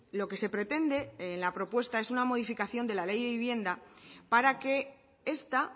lo que se pretende en la propuesta es una modificación de la ley de vivienda para que esta